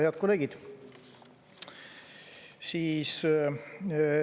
Head kolleegid!